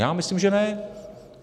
Já myslím, že ne.